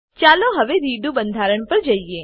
ચાલો હવે રેડો બંધારણ પર જઈએ